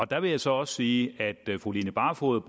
der vil jeg så også sige at fru line barfod